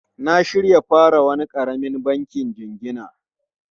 Na shirya fara wani karamin banki jingina.